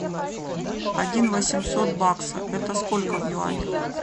один восемьсот бакса это сколько в юанях